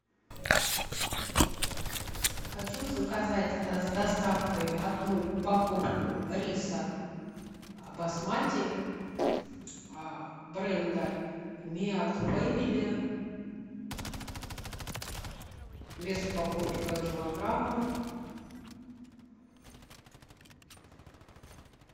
хочу заказать с доставкой одну упаковку риса басмати бренда миад фэмили вес упаковки два килограмма